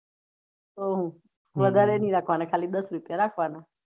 વધારે નહી રાખવાના ખાલી દસ રુપયા રાખવાના